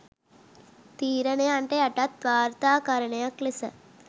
තීරණයන්ට යටත් වාර්තාකරණයක්‌ ලෙස